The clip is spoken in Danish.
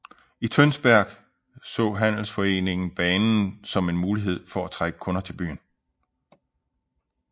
I Tønsberg så handelsforeningen banen som en mulighed for at trække kunder til byen